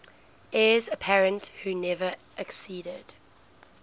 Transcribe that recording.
heirs apparent who never acceded